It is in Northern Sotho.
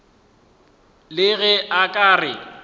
le ge a ka re